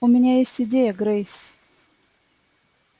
у меня есть идея грейс